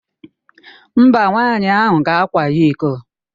Mba, nwaanyị ahụ gakwaghị iko.